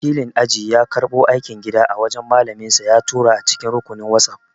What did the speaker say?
Wakilin aji ya karɓo aikin gida a wajan malaminsa ya tura a cikin rukunin whatsapp